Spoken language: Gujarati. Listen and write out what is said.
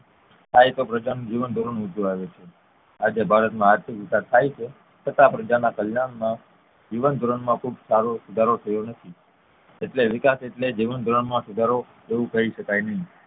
થાય તો પ્રજાનું જીવન ધોરણ ઉંચુ આવે છે આજે ભારત માં આર્થિક વિકાસ થાય છે છતાં પ્રજાના જીવન ધોરણ માં ખુબ સારો સુધારો થયો નથી એટલે વિકાસ એટલે જીવનધોરણ માં સુધારો એવું કહી શકાય નહિ